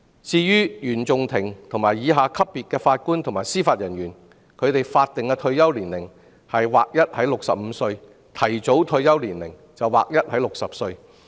至於原訟法庭以下級別法官及司法人員的法定退休年齡則劃一為65歲，提早退休年齡則劃一為60歲。